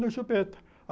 No Chupeta.